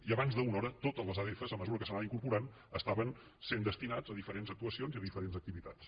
i abans d’una hora totes les adf a mesura que s’anaven incorporant estaven sent destinades a diferents actuacions i a diferents activitats